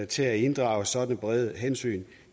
til at inddrage sådanne brede hensyn